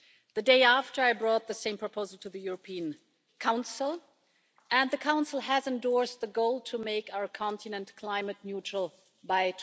The day after I brought the same proposal to the European Council and the Council has endorsed the goal to make our continent climate neutral by